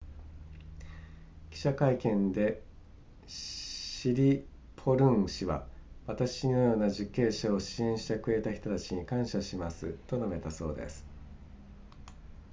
記者会見でシリポルン氏は私のような受刑者を支援してくれた人たちに感謝しますと述べたそうです